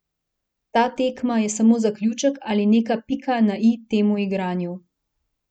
Ta tekma je samo zaključek ali neka pika na i temu igranju.